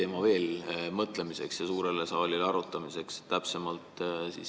Ma pakun mõtlemiseks ja suurele saalile arutamiseks veel ühe teema.